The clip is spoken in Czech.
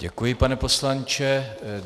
Děkuji, pane poslanče.